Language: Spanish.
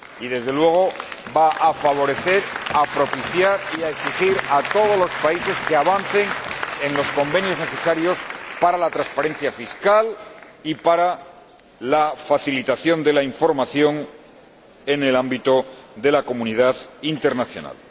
Y, desde luego, va a favorecer, a propiciar y a exigir a todos los países que avancen en los convenios necesarios para la transparencia fiscal y para la facilitación de la información en el ámbito de la comunidad internacional.